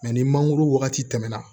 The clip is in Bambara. ni mangoro wagati tɛmɛna